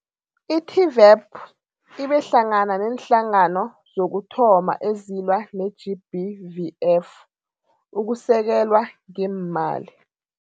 I-TVEP ibe hlangana neenhlangano zokuthoma ezilwa ne-GBVF ukusekelwa ngeemali.